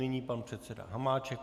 Nyní pan předseda Hamáček.